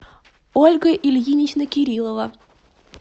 ольга ильинична кириллова